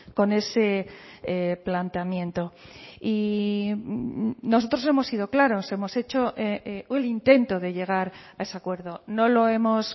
con ese planteamiento y nosotros hemos sido claros hemos hecho el intento de llegar a ese acuerdo no lo hemos